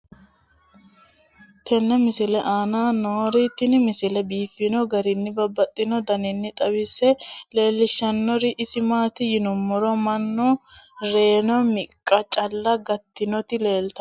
tenne misile aana noorina tini misile biiffanno garinni babaxxinno daniinni xawisse leelishanori isi maati yinummoro mannu reenna miqqa calla gatinotti leelittanno